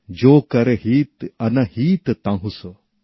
যো কর হিত অনহিত তাহুঁ সো